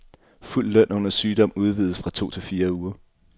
Fuld løn under sygdom udvides fra to til fire uger.